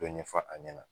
Dɔ ɲɛfɔ a ɲɛna